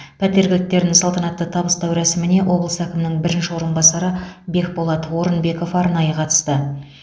пәтер кілттерін салтанатты табыстау рәсіміне облыс әкімінің бірінші орынбасары бекболат орынбеков арнайы қатысты